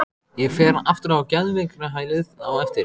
Ég fer aftur á geðveikrahælið á eftir.